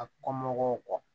A kɔmɔgɔw